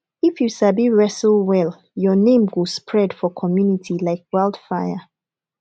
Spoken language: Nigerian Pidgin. if you sabi wrestle well your name go spread for community like wildfire